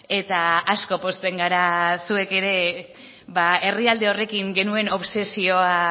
eta asko pozten gara zuek ere herrialde horrekin genuen obsesioa